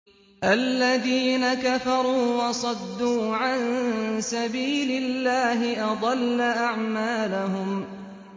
الَّذِينَ كَفَرُوا وَصَدُّوا عَن سَبِيلِ اللَّهِ أَضَلَّ أَعْمَالَهُمْ